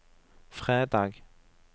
fredag